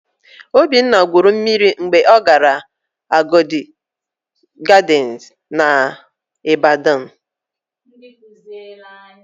Obinna gwuru mmiri mgbe ọ gara Agodi Gadịnsị n'Ịbadọn.